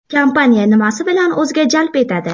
Kompaniya nimasi bilan o‘ziga jalb etadi?